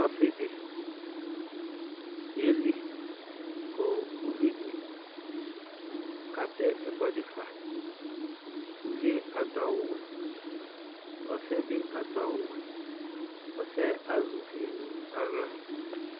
Ɔsɩ dɩ yeli kʋ uvi dɩ katɛ ɛkʋɛdɩ fa Uvi yɛ adʋ awʋwɛ Ɔsɩ yɛ bɩ adʋ awʋwɛ Ɔsɩ azɛ uvi nʋ aɣla